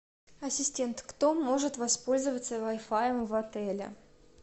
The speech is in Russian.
ассистент кто может воспользоваться вай фаем в отеле